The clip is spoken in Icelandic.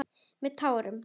Með tárum.